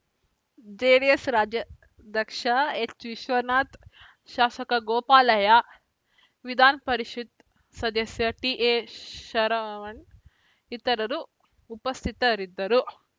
JDS ರಾಜ್ಯಾಧ್ಯಕ್ಷ ಎಚ್‌ವಿಶ್ವನಾಥ್‌ ಶಾಸಕ ಗೋಪಾಲಯ್ಯ ವಿಧಾನಪರಿಷತ್‌ ಸದಸ್ಯ ಟಿಎಶರವಣ ಇತರರು ಉಪಸ್ಥಿತರಿದ್ದರು